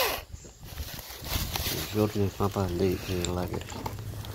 дежурный папа летний лагерь